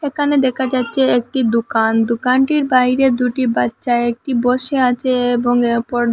ওকানে দেখা যাচ্চে একটি দুকান দুকানটির বাইরে দুটি বাচ্চা একটি বসে আচে এবং অপর--